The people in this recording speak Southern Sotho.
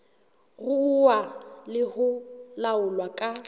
ruuwa le ho laolwa ka